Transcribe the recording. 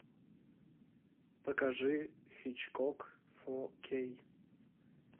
покажи хичкок фо кей